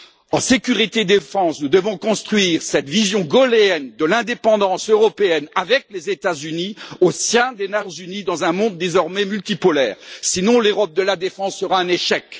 En sécurité défense nous devons construire cette vision gaulléenne de l'indépendance européenne avec les États Unis au sein des Nations unies, dans un monde désormais multipolaire, sinon l'Europe de la défense sera un échec.